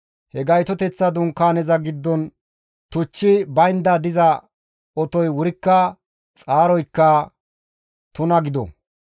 He Gaytoteththa Dunkaaneza giddon tuchchi baynda diza otoy wurikka xaaroykka tuna gido.